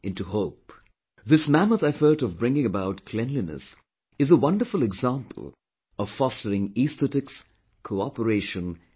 This mammoth effort of bringing about cleanliness is a wonderful example of fostering aesthetics, cooperation and continuum